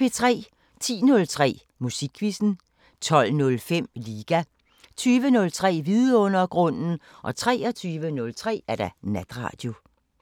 10:03: Musikquizzen 12:05: Liga 20:03: Vidundergrunden 23:03: Natradio